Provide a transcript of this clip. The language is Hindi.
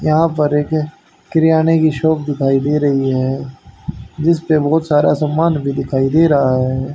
यहां पर एक किरयाने की शॉप दिखाई दे रही है जिस पे बहोत सारा सामान भी दिखाई दे रहा है।